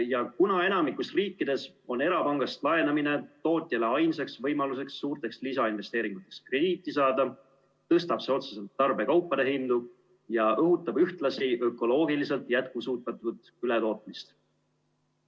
Ja kuna enamikus riikides on erapangast laenamine tootjale ainsaks võimaluseks suurte lisainvesteeringute tegemiseks krediiti saada, tõstab see otseselt tarbekaupade hindu ja õhutab ühtlasi ökoloogiliselt jätkusuutmatut ületootmist.